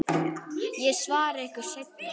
Ég svara ykkur seinna.